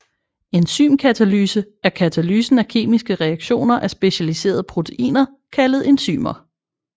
Enzymkatalyse er katalysen af kemiske reaktioner af specialiserede proteiner kaldet enzymer